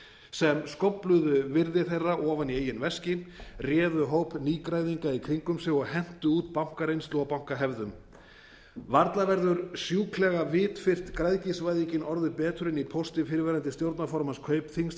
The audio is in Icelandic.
sem skófluðu virði þeirra ofan í eigin veski réðu hóp nýgræðinga í kringum sig og hentu út bankareynslu og bankahefðum varla verður sjúklega vitfirrt græðgisvæðingin orðuð betur en í pósti fyrrverandi stjórnarformanns kaupþings til